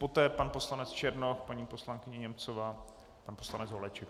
Poté pan poslanec Černoch, paní poslankyně Němcová, pan poslanec Holeček.